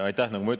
Aitäh!